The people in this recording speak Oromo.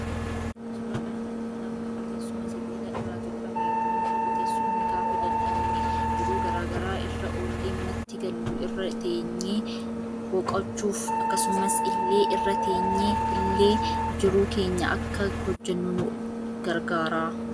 Suuraa kanarratti kan argamu teessuma sibiila irra tolchame yommuu ta'uu teessumni gaafa dhadhabne jiru garaa garaa irra olle manatti Gallu irra teegnee boqochuuf akkasumas ille irra teenye ille jiru keenya Akka hojjennu nu gargaara.